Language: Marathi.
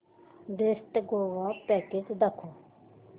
बेस्ट गोवा पॅकेज दाखव